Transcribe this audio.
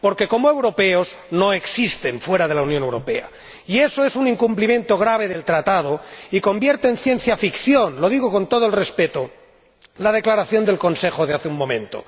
Porque como europeos no existen fuera de la Unión Europea. Y eso es un incumplimiento grave del Tratado y convierte en ciencia ficción —lo digo con todo el respeto— la Declaración del Consejo de hace un momento.